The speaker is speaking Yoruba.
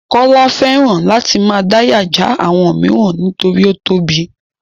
Kọ́lá fẹ́ràn láti máa dáyà já àwọn mìíràn nítorí ó tóbi.